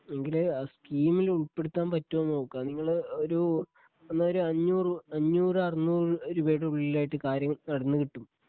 എങ്കില് ആ സ്കീമില് ഉൾപ്പെടുത്താൻ പറ്റുവോന്ന് നോക്കാം നിങ്ങള് ഒരു എന്ന ഒരു അഞ്ഞൂറ് അഞ്ഞൂറ് അറുന്നൂറ് രൂപയുടെ ഉള്ളിലായിട്ട് കാര്യങ്ങൾ നടന്നു കിട്ടും.